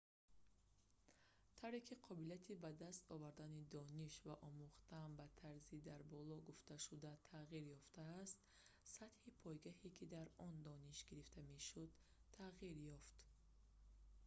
тавре ки қобилияти ба даст овардани дониш ва омӯхтан ба тарзи дар боло гуфташуда тағйир ёфтааст сатҳи пойгоҳе ки дар он дониш гирифта мешуд тағйир ёфт